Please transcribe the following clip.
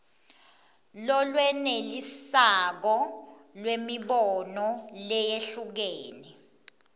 lolwenelisako lwemibono leyehlukene